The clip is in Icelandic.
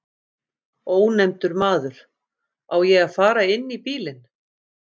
Ónefndur maður: Á ég að fara inn í bílinn?